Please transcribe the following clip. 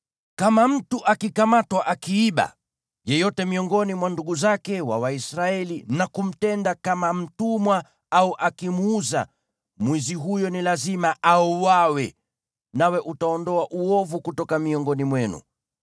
Kama mtu akikamatwa akiiba yeyote miongoni mwa ndugu zake wa Waisraeli na kumtenda kama mtumwa au akimuuza, mwizi huyo ni lazima auawe. Nawe utaondoa uovu kutoka miongoni mwenu.